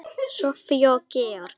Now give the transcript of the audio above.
Soffía og Georg.